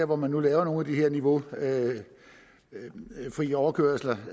hvor man laver nogle af de her niveaufri overkørsler